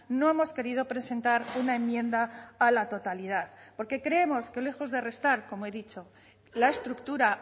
no hemos querido presentar una enmienda a la totalidad porque creemos que lejos de restar como he dicho la estructura